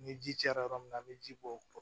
Ni ji cayara yɔrɔ min na an be ji bɔ